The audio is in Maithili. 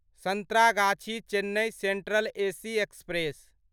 Santragachi Chennai central AC express